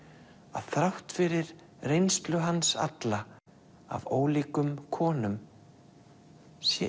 að þrátt fyrir reynslu hans alla af ólíkum konum sé